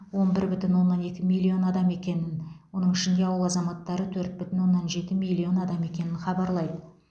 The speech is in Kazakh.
он бір бүтін оннан екі миллион адам екенін оның ішінде ауыл азаматтары төрт бүтін оннан жеті миллион адам екенін хабарлайды